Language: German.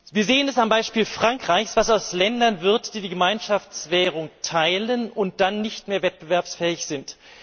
Wir sehen es am Beispiel Frankreichs, was aus Ländern wird, die die Gemeinschaftswährung teilen und dann nicht mehr wettbewerbsfähig sind.